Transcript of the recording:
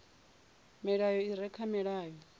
milayo i re kha mulayo